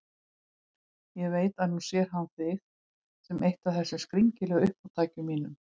Ég veit að nú sér hann þig sem eitt af þessum skringilegu uppátækjum mínum.